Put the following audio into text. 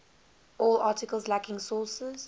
all articles lacking sources